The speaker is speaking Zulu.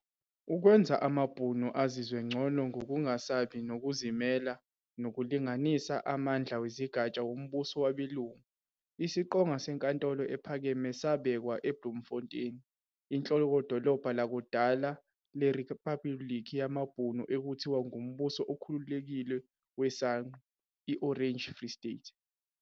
Ukwenza amaBhunu azizwe ncono ngokungasabi nokuzimela nokulinganisa amandlawezigatsha wombuso wabelungu, isiqonga seNkantolo Ephakeme sabekwa eBloemfontein, inhlokodolobha lakudala leriphabuliki yamaBhunu ekuthiwa Ngumbuso oKhululekike weSangqu, i-"Orange Free State".